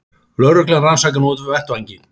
Lögreglan rannsakar nú vettvanginn